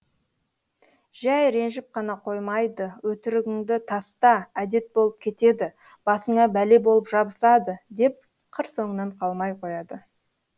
жәй ренжіп қана қоймайды өтірігіңді таста әдет болып кетеді басыңа бәле болып жабысады деп қыр соңынан қалмай қояды